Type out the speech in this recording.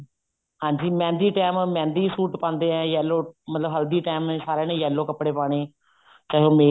ਹਾਂਜੀ mehndi time mehndi suit ਪਾਂਦੇ ਐ yellow ਮਤਲਬ ਹਲਦੀ time ਸਾਰਿਆਂ ਨੇ yellow ਕੱਪੜੇ ਪਾਨੇ ਚਾਹੇ ਉਹ